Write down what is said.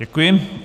Děkuji.